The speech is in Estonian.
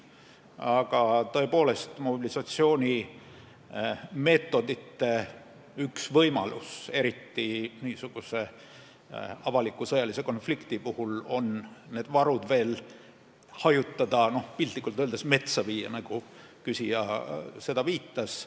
Aga tõepoolest, mobilisatsioonimeetodite üks võimalusi – eriti avaliku sõjalise konflikti puhul – on varusid veel hajutada, piltlikult öeldes metsa viia, nagu küsija viitas.